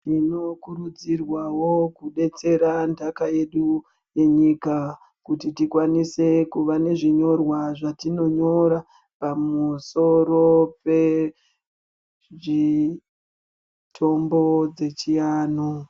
Tinokurudzirwawo kudetsera ntaka yedu yenyika kuti tikwanise kuve nezvinyorwa zvetinonyora pamusoro pemitombo dzechiantu.